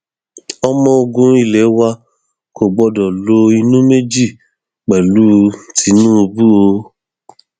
ọmọ ogun ilé wa kò gbọdọ lo inú méjì pẹlú tinubu o